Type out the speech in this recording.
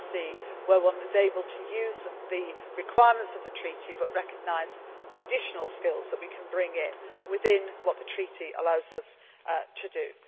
I can see where one is able to use the requirements of the treaty but recognise the additional skills that we can bring in, within what the treaty allows us